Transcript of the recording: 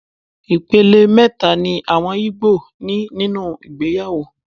Ìpele mẹ́ta ni àwọn igbo ní nínú ìgbéyàwó.